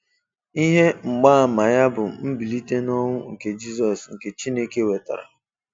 Ihe mgbaama ya bụ mbilite n'ọnwụ nke Jizọs nke Chineke wetara.